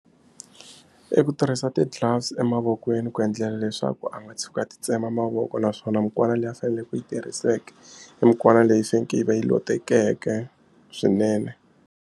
I ku tirhisa ti-gloves emavokweni ku endlela leswaku a nga tshuki a titsema mavoko naswona mukwana leyi a faneleke ku yi tirhiseke i mukwana leyi faneke yi va yi lotekeke swinene.